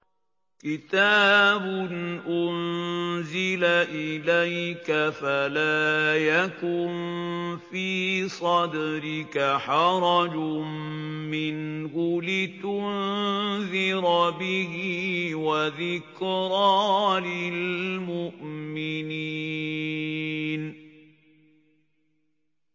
كِتَابٌ أُنزِلَ إِلَيْكَ فَلَا يَكُن فِي صَدْرِكَ حَرَجٌ مِّنْهُ لِتُنذِرَ بِهِ وَذِكْرَىٰ لِلْمُؤْمِنِينَ